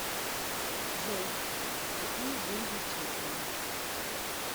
джой какие деньги в чехии